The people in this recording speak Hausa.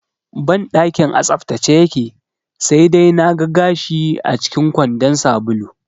Banɗakin a tsaftace yake, sai dai na ga gashi acikin kwandon sabulu